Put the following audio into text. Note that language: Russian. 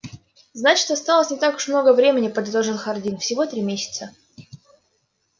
значит осталось не так уж много времени подытожил хардин всего три месяца